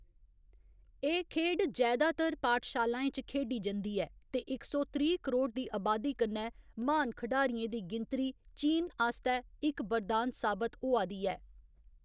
एह्‌‌ खेढ जैदातर पाठशालाएं च खेढी जंदी ऐ ते इक सौ त्रीह्‌ करोड़ दी अबादी कन्नै, म्हान खढारियें दी गिनतरी चीन आस्तै इक बरदान साबत होआ दी ऐ।